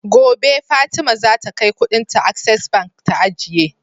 Gobe fatima zaka kai Ƙudin ta access bank ta ajiye